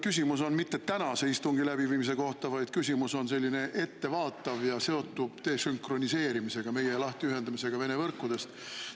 Küsimus ei ole tänase istungi läbiviimise kohta, vaid küsimus on ettevaatav ja seotud desünkroniseerimisega, meie lahtiühendamisega Vene võrkudest.